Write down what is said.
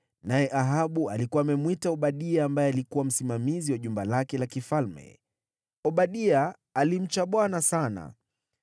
naye Ahabu alikuwa amemwita Obadia ambaye alikuwa msimamizi wa jumba lake la kifalme. (Obadia alimcha Bwana sana.